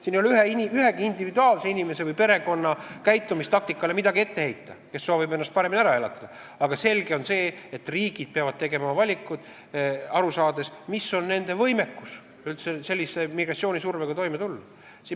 Siin ei ole midagi ette heita ühegi inimese või perekonna käitumistaktikale, kui nad soovivad ennast paremini ära elatada, aga selge on see, et riigid peavad tegema valikuid, aru saades, milline on nende võimekus migratsioonisurvega toime tulla.